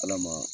Ala ma